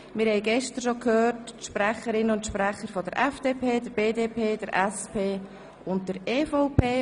Wir hörten gestern bereits die Sprecherinnen und Sprecher der FDP, der BDP, der SP und der EVP.